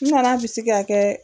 N nana bisi k'a kɛ